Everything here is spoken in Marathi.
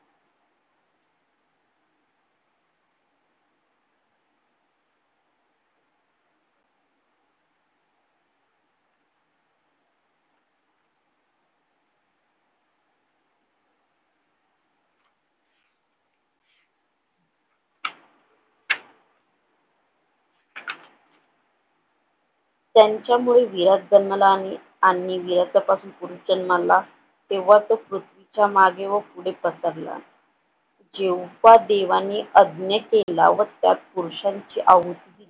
त्यांच्यामुळे विरत जन्माला आली आणि विरतापासून जन्माला तेव्हा तो पृथ्वीच्या मागे वर पुढे पसरला देवांनी यज्ञ केला व त्या पुरुश्यांची आहुती